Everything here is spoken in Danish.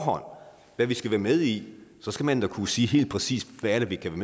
om hvad vi skal være med i så skal man da kunne sige helt præcist er vi kan